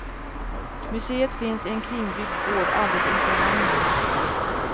Museet finns i en kringbyggd gård alldeles inpå hamnen.